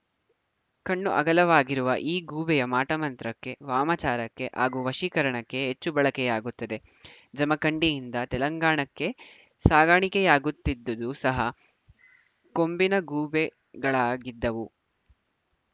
ಕಣ್ಣು ಅಗಲವಾಗಿರುವ ಈ ಗೂಬೆಯ ಮಾಟಮಂತ್ರಕ್ಕೆ ವಾಮಾಚಾರಕ್ಕೆ ಹಾಗೂ ವಶೀಕರಣಕ್ಕೆ ಹೆಚ್ಚು ಬಳಕೆಯಾಗುತ್ತದೆ ಜಮಖಂಡಿಯಿಂದ ತೆಲಂಗಾಣಕ್ಕೆ ಸಾಗಾಣಿಕೆಯಾಗುತ್ತಿದ್ದದ್ದು ಸಹ ಕೊಂಬಿನ ಗೂಬೆಗಳಾಗಿದ್ದವು